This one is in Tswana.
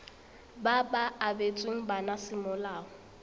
ba ba abetsweng bana semolao